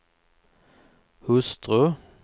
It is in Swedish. hustru